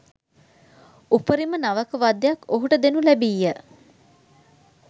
උපරිම නවක වදයක් ඔහුට දෙනු ලැබීය